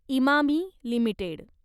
Emami limited